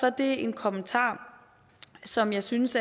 er det en kommentar som jeg synes